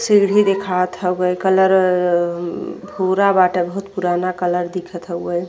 सीढ़ी दिखाबत हउवे कलर उम्म भूरा बाटे बहुत पुराना कलर दिखत हउवे।